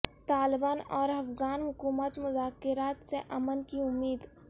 طالبان اور افغان حکومت مذاکرات سے امن کی امید